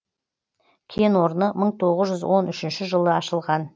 кен орны мың тоғыз жүз он үшінші жылы ашылған